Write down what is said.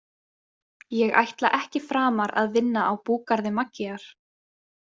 Ég ætla ekki framar að vinna á búgarði Maggíar.